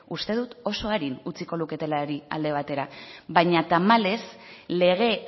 uste dut oso arin utziko luketelarik alde batera baina tamalez lege